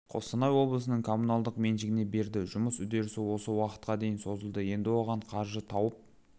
қостанай облысының коммуналдық меншігіне берді жұмыс үдерісі осы уақытқа дейін созылды енді оған қаржы тауып